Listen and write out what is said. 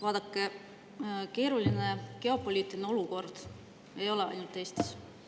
Vaadake, keeruline geopoliitiline olukord ei ole ainult Eestis.